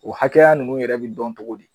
O hakɛya ninnu yɛrɛ bɛ dɔn cogo di?